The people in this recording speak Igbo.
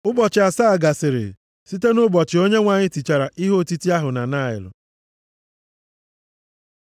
Ụbọchị asaa gasịrị, site nʼụbọchị Onyenwe anyị tichara ihe otiti ahụ na Naịl.